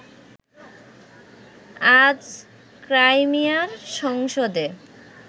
আজ ক্রাইমিয়ার সংসদে